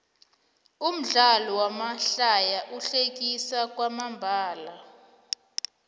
umdlalo wamahlaya uhlekisa kwamambalo